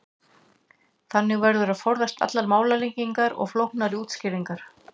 Þannig verður að forðast allar málalengingar og flóknari útskýringar.